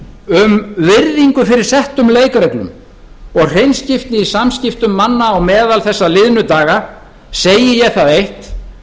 um virðingu fyrir settum leikreglum og hreinskiptni í samskiptum manna á meðal þessa liðnu daga segi ég það eitt